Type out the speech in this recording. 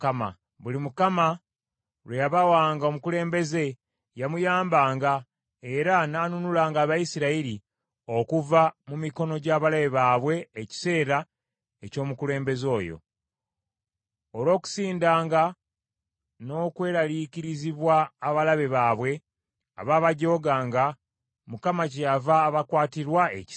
Buli Mukama lwe yabawanga omukulembeze yamuyambanga era n’anunulanga Abayisirayiri okuva mu mikono gy’abalabe baabwe ekiseera eky’omukulembeze oyo. Olw’okusindanga n’okweraliikirizibwa abalabe baabwe abaabajooganga, Mukama kyeyava abakwatirwa ekisa.